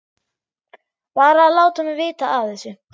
Bara að láta mig vita af þessu.